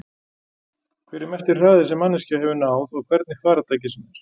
Hver er mesti hraði sem manneskja hefur náð á hvernig farartæki sem er?